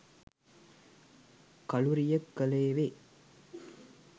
කලුරිය කළේ වේ.